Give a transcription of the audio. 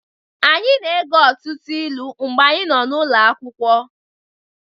Anyị na-ege ọtụtụ ilu mgbe anyị nọ n'ụlọ akwụkwọ